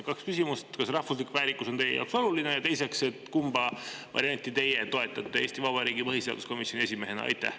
Kaks küsimust: esiteks, kas rahvuslik väärikus on teie jaoks oluline, ja teiseks, kumba varianti teie toetate Eesti Vabariigi põhiseaduskomisjoni esimehena?